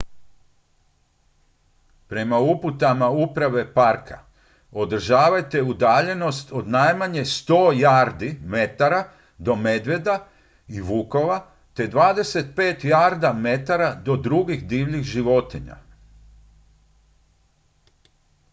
prema uputama uprave parka održavajte udaljenost od najmanje 100 jarda/metara do medvjeda i vukova te 25 jarda/metara do drugih divljih životinja!